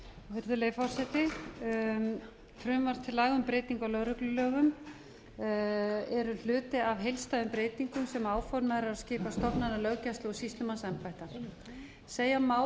virðulegi forseti frumvarp til laga um breytingu á lögreglulögum eru hluti af heildstæðum breytingum sem áformað er að skipa stofnana löggæslu og sýslumannsembætta segja má